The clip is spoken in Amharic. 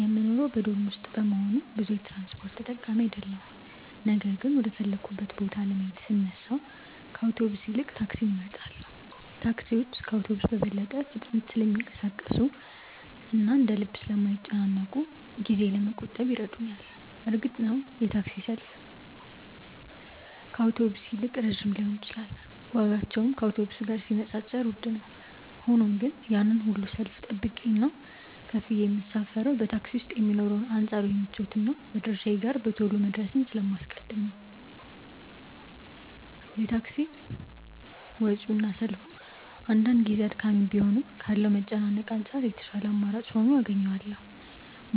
የምኖረው በዶርም ውስጥ በመሆኑ ብዙ የትራንስፖርት ተጠቃሚ አይደለሁም ነገር ግን ወደ ፈለግኩበት ቦታ ለመሄድ ስነሳ ከአውቶቡስ ይልቅ ታክሲን እመርጣለሁ። ታክሲዎች ከአውቶቡስ በበለጠ ፍጥነት ስለሚንቀሳቀሱና እንደ ልብ ስለማይጨናነቁ ጊዜዬን ለመቆጠብ ይረዱኛል። እርግጥ ነው የታክሲ ሰልፍ ከአውቶቡስ ይልቅ ረጅም ሊሆን ይችላል ዋጋቸውም ቢሆን ከአውቶቡስ ጋር ሲነጻጸር ውድ ነው። ሆኖም ግን ያንን ሁሉ ሰልፍ ጠብቄና ከፍዬ የምሳፈረው በታክሲ ውስጥ የሚኖረውን አንጻራዊ ምቾትና መድረሻዬ ጋር በቶሎ መድረስን ስለማስቀድም ነው። የታክሲ ወጪውና ሰልፉ አንዳንድ ጊዜ አድካሚ ቢሆንም ካለው መጨናነቅ አንጻር የተሻለ አማራጭ ሆኖ አገኘዋለሁ።